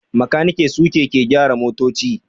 makaniki suke ke gyara motoci